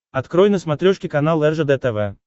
открой на смотрешке канал ржд тв